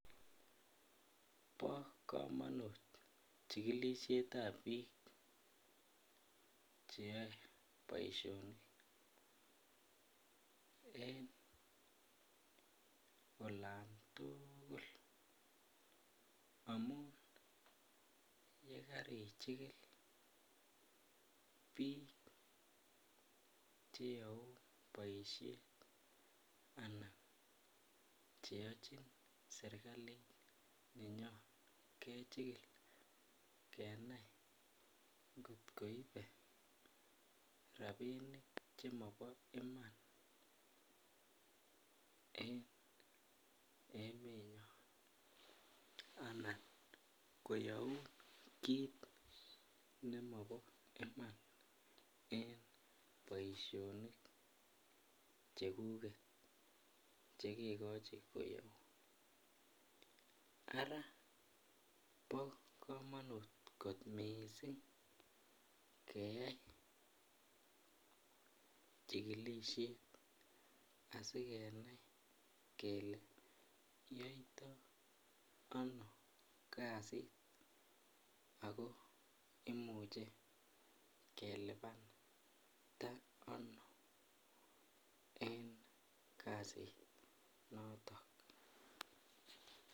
Bo komonut chigilisietab biik cheyoe boisionik en olantugul amun yekarichigil biik cheyoun boisoet anan cheyochin serkalit nenyon kechigil kenai ng'ot koibe rabinik chemobo iman en emenyon, anan koyoun kiit nemobo iman en boisionik chekuget chekegochi koyoun ara bo komonut kot missing keyai chigilisiet asigenai kele yoito ano kasit ako imuche kelipanda ano en kasit noto.